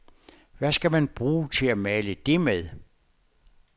Hvad skal man bruge til at male det med.